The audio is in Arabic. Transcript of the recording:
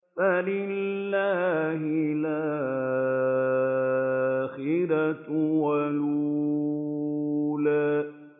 فَلِلَّهِ الْآخِرَةُ وَالْأُولَىٰ